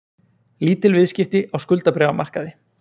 Lítil viðskipti á skuldabréfamarkaði